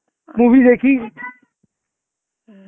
movie দেখি